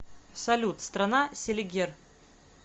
салют страна селигер